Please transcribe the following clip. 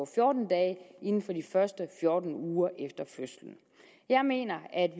fjorten dage inden for de første fjorten uger efter fødslen jeg mener at